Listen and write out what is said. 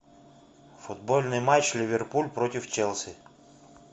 футбольный матч ливерпуль против челси